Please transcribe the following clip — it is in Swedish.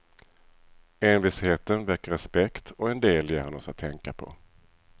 Envisheten väcker respekt, och en del ger han oss att tänka på.